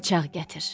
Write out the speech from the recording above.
Bıçaq gətir.